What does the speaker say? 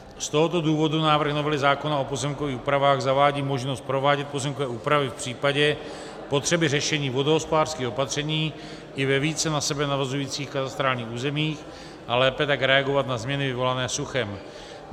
Z tohoto důvodu návrh novely zákona o pozemkových úpravách zavádí možnost provádět pozemkové úpravy v případě potřeby řešení vodohospodářských opatření i ve více na sebe navazujících katastrálních územích, a lépe tak reagovat na změny vyvolané suchem.